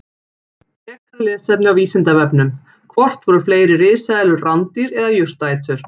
Frekara lesefni á Vísindavefnum: Hvort voru fleiri risaeðlur rándýr eða jurtaætur?